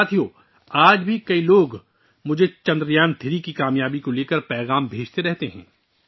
دوستو، آج بھی بہت سے لوگ مجھے چندریان 3 کی کامیابی سے متعلق پیغامات بھیج رہے ہیں